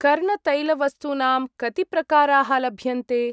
कर्णतैलवस्तूनां कति प्रकाराः लभ्यन्ते?